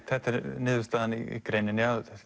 þetta er niðurstaðan í greininni að